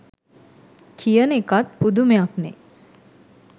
කියන එකත් පුදුමයක්නේ.